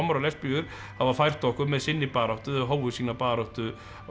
lesbíur hafa fært okkur með sinni baráttu hófu sína baráttu